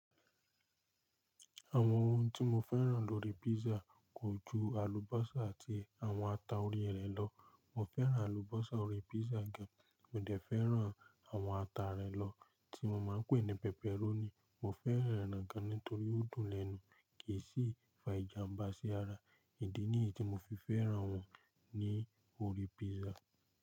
Àwọn ohun tí mo fẹ́ràn lórí písà kò ju àlùbọ́sà àti àwọn ata orí rẹ̀ lọ. Mo fẹ́ràn àlùbọ́sà orí písà gan, mo dẹ̀ fẹ́ràn àwọn ata rẹ lọ tí mo máa ń pè ní pẹpẹrónì. Mo fẹ́ràn rẹ̀ gan nítorí ó dùn lẹ́nu kì í sì fa ìjàmbá sí ara. Ìdí nìyí tí mo fi fẹ́ràn wọn ní orí písà.